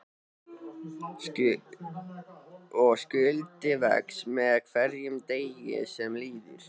Og skuldin vex með hverjum deginum sem líður.